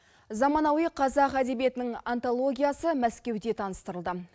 заманауи қазақ әдебиетінің антологиясы мәскеуде таныстырылды